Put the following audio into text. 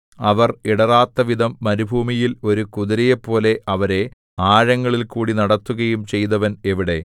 അവർ ഇടറാത്തവിധം മരുഭൂമിയിൽ ഒരു കുതിരയെപ്പോലെ അവരെ ആഴങ്ങളിൽകൂടി നടത്തുകയും ചെയ്തവൻ എവിടെ